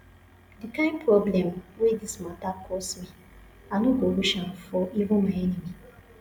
the kyn problem wey dis matter cause me i no go wish am for even my enemy